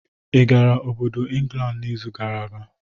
I gara obodo Ingland n'izu gara aga?